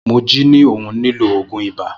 Moji ni òhun ni lo òògùn ibà.